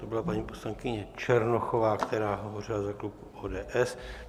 To byla paní poslankyně Černochová, která hovořila za klub ODS.